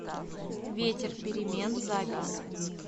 ветер перемен запись